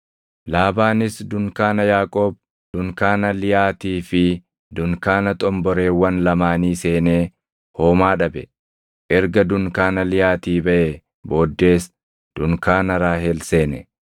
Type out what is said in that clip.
Laabaanis dunkaana Yaaqoob, dunkaana Liyaatii fi dunkaana xomboreewwan lamaanii seenee homaa dhabe. Erga dunkaana Liyaatii baʼee booddees dunkaana Raahel seene.